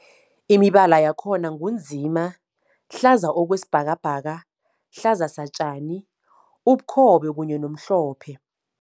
Imibala yakhona ngu nzima, hlaza okwesibhakabhaka, hlaza satjani, ubukhobe kanye nomhlophe.